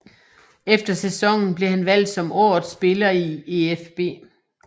Efter sæsonen blev han valgt som årets spiller i EfB